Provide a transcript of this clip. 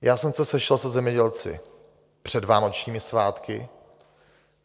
Já jsem se sešel se zemědělci před vánočními svátky.